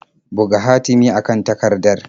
Buga hatimi a kan takardar.